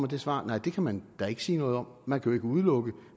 det svar nej det kan man da ikke sige noget om man kan jo ikke udelukke